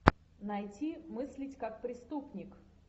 найти мыслить как преступник